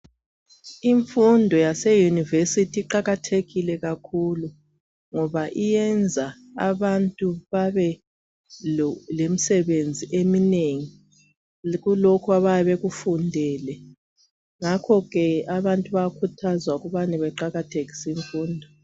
Imfundo yaseyunivesithi iqakathekile kakhulu ngoba iyenza abantu babe lemsebenzi eminengi kulokhu abayabe bekufundele. Ngakho ke abantu bayakhuthazwa ukubane baqakathekise imfundo.